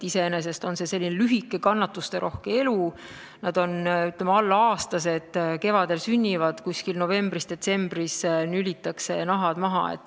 Iseenesest on see lühike ja kannatusterohke elu, nad elavad alla aasta: kevadel sünnivad, novembris või detsembris nülitakse nahad maha.